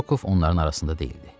Rokov onların arasında deyildi.